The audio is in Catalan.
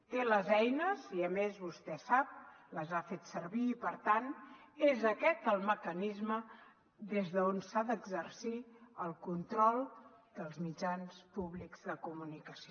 té les eines i a més vostè sap les ha fet servir i per tant és aquest el mecanisme des d’on s’ha d’exercir el control dels mitjans públics de comunicació